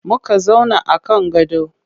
Muka zauna a kan gado.